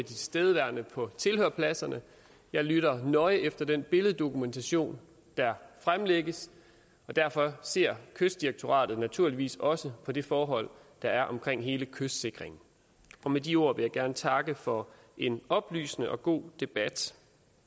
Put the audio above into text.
tilstedeværende på tilhørerpladserne jeg lytter nøje efter den billeddokumentation der fremlægges og derfor ser kystdirektoratet naturligvis også på de forhold der er omkring hele kystsikringen med de ord vil jeg gerne takke for en oplysende og god debat